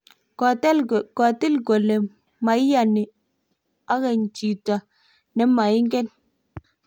kotil kole mu maiyani akeny chito ne maingen